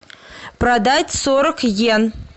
продать сорок йен